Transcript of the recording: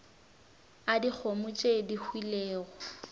a dikgomo tše di hwilego